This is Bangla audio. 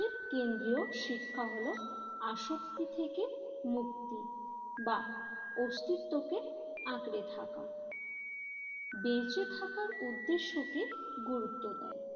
কেন্দ্রীয় শিক্ষা হল আসক্তি থেকে মুক্তি বা অস্তিত্বকে আঁকড়ে থাকা বেঁচে থাকার উদ্দেশ্যকে গুরুত্ব দেয়।